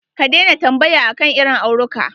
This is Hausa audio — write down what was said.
Ka daina tambaya akan irin auruka.